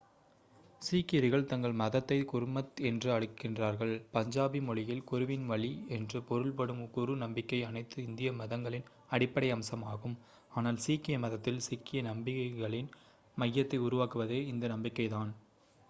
"சீக்கியர்கள் தங்கள் மதத்தை குர்மத் என்று அழைக்கிறார்கள் பஞ்சாபி மொழியில் "குருவின் வழி" என்று பொருள்படும். குரு நம்பிக்கை அனைத்து இந்திய மதங்களின் அடிப்படை அம்சமாகும் ஆனால் சீக்கிய மதத்தில் சீக்கிய நம்பிக்கைகளின் மையத்தை உருவாக்குவதே இந்த நம்பிக்கைதான்.